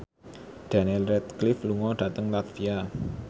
Daniel Radcliffe lunga dhateng latvia